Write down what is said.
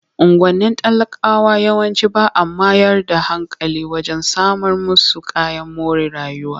Unguwannin talakawa yawanci ba a mayar da hankali wajen samar musu kayan more rayuwa.